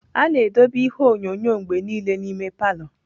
A na-edobe ihe onyonyo mgbe niile n'ime palọ.